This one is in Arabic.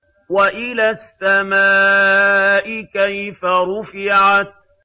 وَإِلَى السَّمَاءِ كَيْفَ رُفِعَتْ